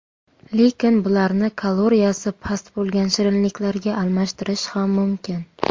Lekin bularni kaloriyasi past bo‘lgan shirinliklarga almashtirish ham mumkin.